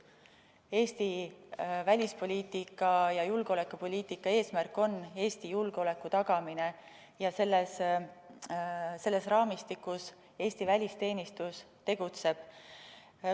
Eesti välispoliitika ja julgeolekupoliitika eesmärk on Eesti julgeoleku tagamine ja selles raamistikus Eesti välisteenistus tegutseb.